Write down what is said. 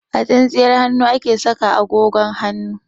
A tsintsiyar hannu ake saka agogon hannu.